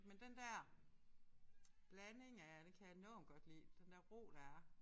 Men den der blanding af det kan jeg enormt godt lide. Den der ro der er